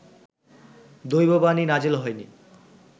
দৈববাণী নাজেল হয়নি